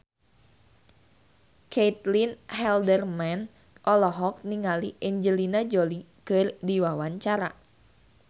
Caitlin Halderman olohok ningali Angelina Jolie keur diwawancara